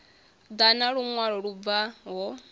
ḓa na luṅwalo lu bvaho